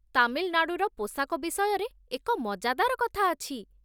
ତାମିଲନାଡ଼ୁର ପୋଷାକ ବିଷୟରେ ଏକ ମଜାଦାର କଥା ଅଛି